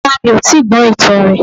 Rárá mi ò tíì gbọ́ ìtàn rè